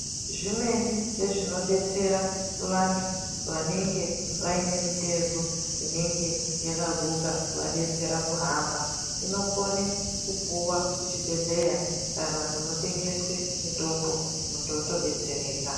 Zvimweni zvezvinodetsera vantu vanenge vaine mitezo inenge yakaguka kuvadetsera kuhamba inokone kupuwe kuchibhedhleya kana kunotengeswe mitombo muntu otodetsereka.